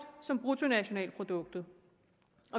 som bruttonationalproduktet